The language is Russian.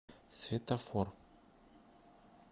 светофор